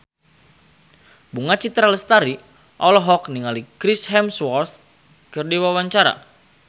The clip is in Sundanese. Bunga Citra Lestari olohok ningali Chris Hemsworth keur diwawancara